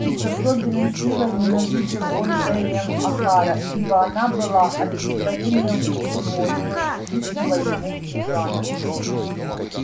и с особенной силой ненавидел он эллин охара ибо она была олицетворением всего столь ненавистного ему в южанах